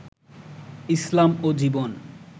ইসলাম ও জীবন